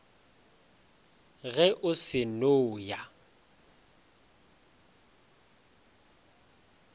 ge o se no ya